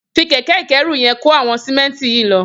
Fi kẹkẹ ikẹ̀rú yèn kó awọn sìmẹ̀ntí yi lọ